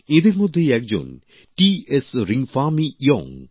এঁদের মধ্যেই একজন টিএস রিংফামি ইয়োং